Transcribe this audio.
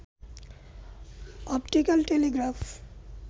optical Telegraph